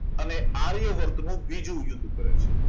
અને આર્યવર્ત નું બીજું યુદ્ધ કરે છે